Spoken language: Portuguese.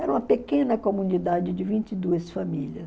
Era uma pequena comunidade de vinte e duas famílias.